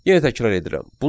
Yenə təkrar edirəm.